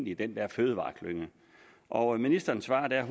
i den der fødevareklynge og ministeren svarede der